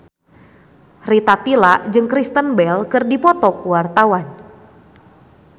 Rita Tila jeung Kristen Bell keur dipoto ku wartawan